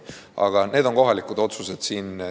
Aga need on kohalikud otsused.